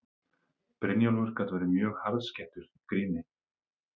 Brynjólfur gat verið mjög harðskeyttur í gríni.